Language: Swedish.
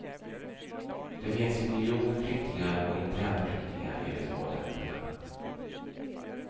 Det finns ju miljoner flyktingar och internflyktingar i de två länderna.